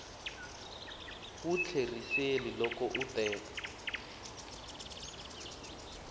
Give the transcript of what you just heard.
wu tlheriseli loko u teka